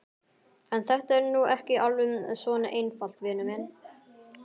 En þetta er nú ekki alveg svona einfalt, vinur minn.